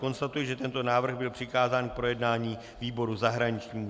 Konstatuji, že tento návrh byl přikázán k projednání výboru zahraničnímu.